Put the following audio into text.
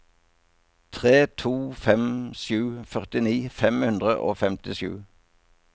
tre to fem sju førtini fem hundre og femtisju